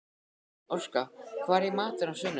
Orka, hvað er í matinn á sunnudaginn?